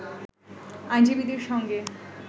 আইনজীবীদের সঙ্গে